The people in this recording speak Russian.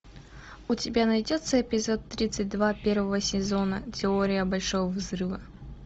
у тебя найдется эпизод тридцать два первого сезона теория большого взрыва